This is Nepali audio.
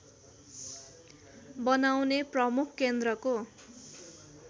बनाउने प्रमुख केन्द्रको